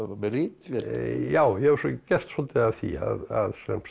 með ritvél já ég hef gert svolítið af því að